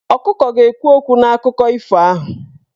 Ọkụkọ ga-ekwu okwu n'akụkọ ifo ahụ.